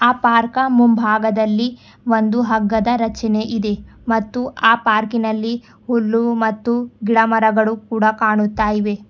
ಆ ಪಾರ್ಕ ಮುಂಭಾಗದಲ್ಲಿ ಒಂದು ಹಗ್ಗದ ರಚನೆ ಇದೆ ಮತ್ತು ಆ ಪಾರ್ಕಿನಲ್ಲಿ ಹುಲ್ಲು ಮತ್ತು ಗಿಡ ಮರಗಳು ಕೂಡ ಕಾಣುತ್ತ ಇವೆ.